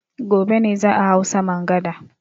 Gobe ne za a hau saman gada.